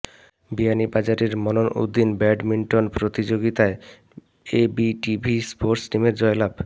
বিয়ানীবাজারের মনন উদ্দিন ব্যাডমিন্টন প্রতিযোগিতায় ABTV sports টিমের জয়লাভ